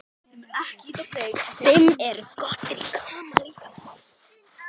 Fimm eru komnar í notkun.